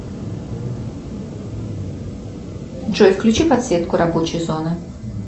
джой включи подсветку рабочей зоны